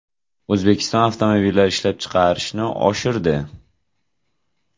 O‘zbekiston avtomobillar ishlab chiqarishni oshirdi.